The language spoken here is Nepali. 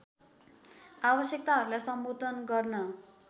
आवश्यकताहरूलाई सम्बोधन गर्न